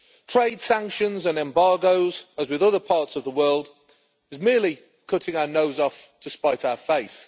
Trade sanctions and embargoes, as with other parts of the world, is merely cutting our nose off to spite our face.